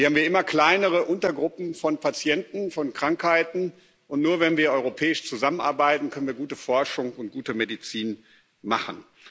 Wir haben ja immer kleinere Untergruppen von Patienten, von Krankheiten, und nur, wenn wir europäisch zusammenarbeiten, können wir gute Forschung und gute Medizin machen.